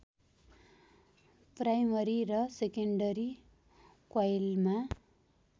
primary र secondary क्वाइलमा